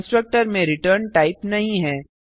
constructor में return type नहीं है